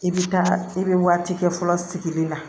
I bɛ taa i bɛ waati kɛ fɔlɔ sigili la